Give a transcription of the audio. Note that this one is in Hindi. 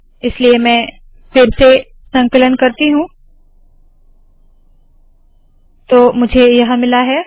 इसलिए मैं फिर से संकलन करती हूँ तो मुझे यह मिला है